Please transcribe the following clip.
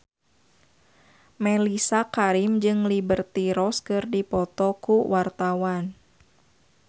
Mellisa Karim jeung Liberty Ross keur dipoto ku wartawan